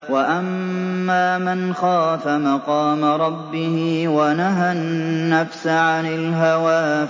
وَأَمَّا مَنْ خَافَ مَقَامَ رَبِّهِ وَنَهَى النَّفْسَ عَنِ الْهَوَىٰ